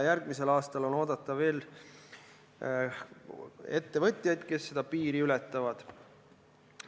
Järgmisel aastal on oodata veel ettevõtjaid, kes seda piiri ületavad.